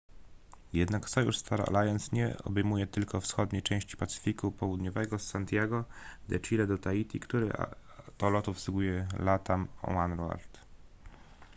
jednak sojusz star alliance nie obejmuje tylko wschodniej części pacyfiku południowego z santiago de chile do tahiti który to lot obsługuje latam oneworld